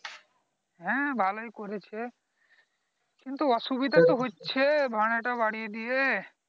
হ্যাঁ ভালোই করেছে কিন্তু অসুবিধা তো হচ্ছে ভাড়া টা বারিয়ে দিয়ে